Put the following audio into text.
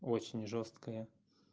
очень жёсткое